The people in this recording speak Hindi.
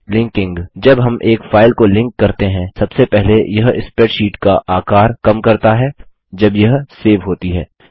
लिंकिंग जब हम एक फाइल को लिंक करते हैं सबसे पहले यह स्प्रैडशीट का आकार कम करता है जब यह सेव होती है